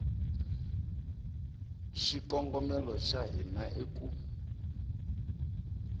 xikongomelo xa hina i ku